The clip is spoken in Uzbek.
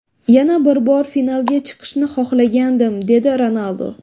Yana bir bor finalga chiqishni xohlagandim”, – dedi Ronaldu.